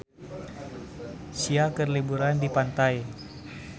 Sia keur liburan di pantai